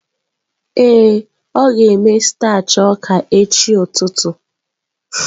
Ee, ọ ga-eme starch ọka echi ụtụtụ.